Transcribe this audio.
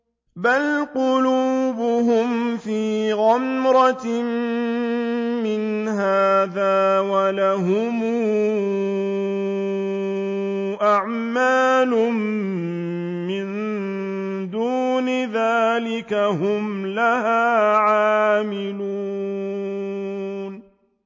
بَلْ قُلُوبُهُمْ فِي غَمْرَةٍ مِّنْ هَٰذَا وَلَهُمْ أَعْمَالٌ مِّن دُونِ ذَٰلِكَ هُمْ لَهَا عَامِلُونَ